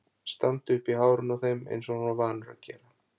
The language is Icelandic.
Standi upp í hárinu á þeim eins og hann var vanur að gera!